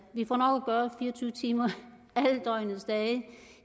fire og tyve timer